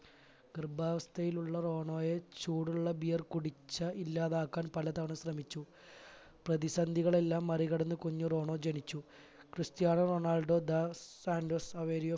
ഗർഭാവസ്ഥയിലുള്ള റോണോയെ ചൂടുള്ള beer കുടിച്ച് ഇല്ലാതാക്കാൻ പല തവണ ശ്രമിച്ചു പ്രതിസന്ധികളെല്ലാം മറികടന്ന് കുഞ്ഞി റോണോ ജനിച്ചു Cristiano Ronaldo dos Santos Aveiro